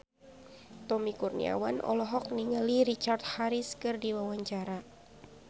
Tommy Kurniawan olohok ningali Richard Harris keur diwawancara